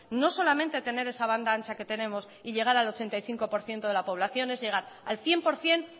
no solamente tener esa banda ancha que tenemos y llegar al ochenta y cinco por ciento de la población es llegar al cien por ciento